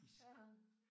Ja